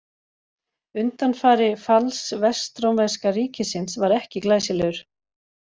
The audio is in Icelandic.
Undanfari falls vestrómverska ríkisins var ekki glæsilegur.